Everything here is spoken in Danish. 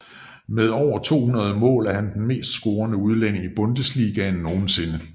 Med over 200 mål er han den mest scorende udlænding i Bundesligaen nogensinde